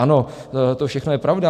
Ano, to všechno je pravda.